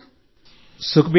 సుఖ్బీర్ గారూ